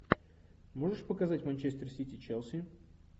можешь показать манчестер сити челси